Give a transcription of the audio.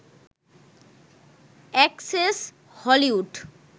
access Hollywood